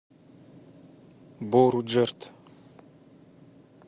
боруджерд